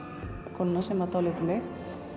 konuna sem dáleiddi mig